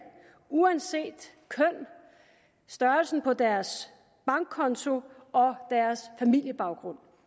uanset køn størrelsen på deres bankkonto og deres familiebaggrund